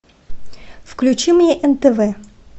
включи мне нтв